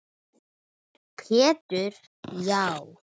Pétur: Já